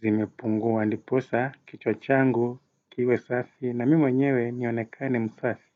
zimepunguwa ndiposa, kichwa changu, kiwe safi na mimi mwenyewe nionekane msafi.